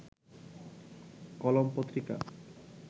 কলম পত্রিকা